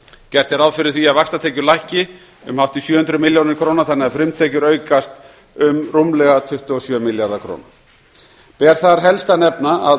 gert er ráð fyrir því að vaxtatekjur lækki um hátt í sjö hundruð milljónir króna þannig að frumtekjur aukast um rúmlega tuttugu og sjö milljarða króna ber þar helst að nefna að